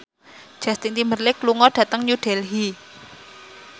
Justin Timberlake lunga dhateng New Delhi